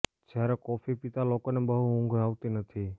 જ્યારે કોફી પીતા લોકોને બહુ ઊંઘ આવતી નથી